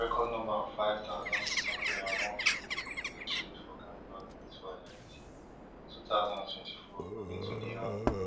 record number of five thousand, six hundred and one pipo bin dey killed for gang violence for haiti for two thousand and twenty-four according to di un